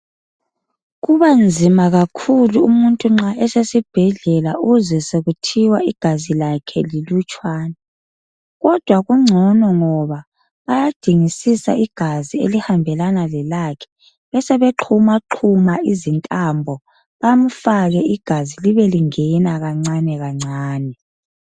Kubanzima kakhulu umuntu nxa esesibhedlela uzwe sokuthiwa igazi lakhe lilutshwana, kodwa kungcono ngoba bayadingisisa igazi elihambelana lelakhe, besebe xhumaxhuma izintambo bamfake igazi libe lingena kancane kancane.